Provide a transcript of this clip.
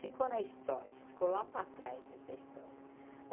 Ficou na história, ficou lá para trás essa história.